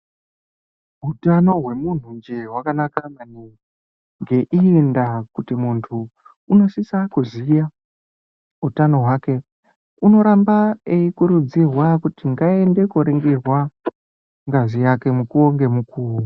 Utano hwemuntunje hwakanaka maningi ngeimwe ndaa kuti muntu unosisa kuziya utano hwake unoramba eikurudzirwa kuti ngaaende koringirwa ngazi yake mukuwo ngemukuwo.